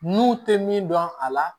N'u tɛ min dɔn a la